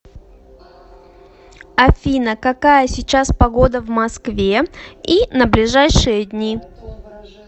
афина какая сейчас погода в москве и на ближайшие дни